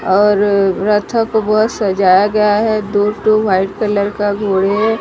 और रथक वो सजाया गया है ट्वॉ ट्वॉ व्हाइट कलर का घोड़े है।